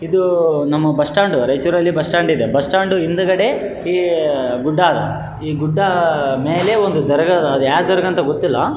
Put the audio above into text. ಇದು ನಮ್ಮ bus stand ರೈಚೂರಲ್ಲಿ ಬಸ್ಸ್ ಸ್ಟ್ಯಾಂಡ್ ಇದೆ ಬಸ್ಸ್ ಸ್ಟ್ಯಾಂಡ್ ಹಿಂದ್ಗಡೆ ಈ ಗುಡ್ಡ ಈ ಗುಡ್ಡ ಮೇಲೆ ಒಂದು ದರಾಗ ಇದೆ ಅದು ಯಾವ್ ದರ್ಗಂತ ಗೊತ್ತಿಲ್ಲ.